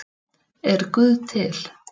Er guð til